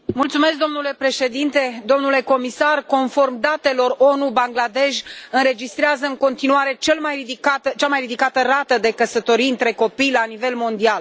Domnule președinte, domnule comisar, conform datelor ONU, Bangladesh înregistrează în continuare cea mai ridicată rată de căsătorii între copii la nivel mondial.